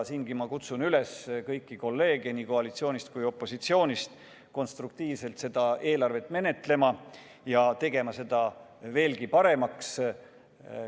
Ma kutsun üles kõiki kolleege nii koalitsioonist kui opositsioonist konstruktiivselt seda eelarvet menetlema ja tegema seda veelgi paremaks.